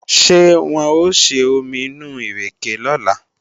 Ṣé wọ́n ó ṣe omi inú ìrèkè lọ́la?